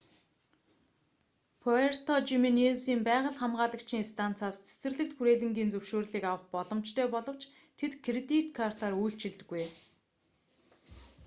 пуэрто жименезийн байгаль хамгаалагчийн станцаас цэцэрлэгт хүрээлэнгийн зөвшөөрлийг авах боломжтой боловч тэд кредит картаар үйлчилдэггүй